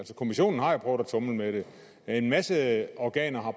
kommissionen har jo prøvet at tumle med det en masse organer har